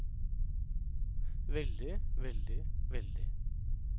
veldig veldig veldig